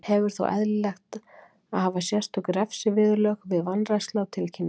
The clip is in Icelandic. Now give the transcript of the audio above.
Hefur þótt eðlilegt að hafa sérstök refsiviðurlög við vanrækslu á tilkynningum.